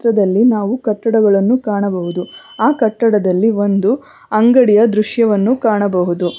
ಪಕ್ಕದಲ್ಲಿ ನಾವು ಕಟ್ಟಡಗಳನ್ನು ಕಾಣಬಹುದು ಆ ಕಟ್ಟಡದಲ್ಲಿ ಒಂದು ಅಂಗಡಿಯ ದೃಶ್ಯವನ್ನು ಕಾಣಬಹುದು.